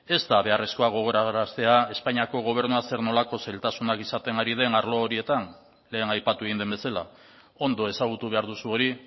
ez da beharrezkoa gogoraraztea espainiako gobernua zer nolako zailtasunak izaten ari den arlo horietan lehen aipatu egin den bezala ondo ezagutu behar duzu hori